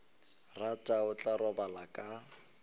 rata o tla robala ka